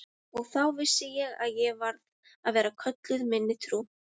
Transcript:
Og þá vissi ég að ég varð að vera köllun minni trú.